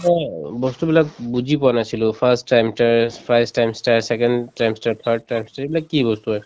বস্তুবিলাক বুজি পোৱা নাছিলো এইবিলাক কি বস্তু হয়